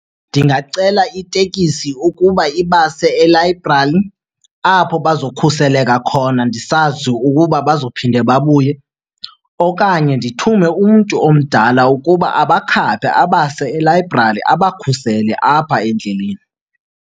Ndingacela itekisi ukuba ibase elayibrali apho bazokhuseleka khona ndisazi ukuba bazophinde babuye. Okanye ndithume umntu omdala ukuba abakhaphe abase elayibrali, abakhusele apha endleleni.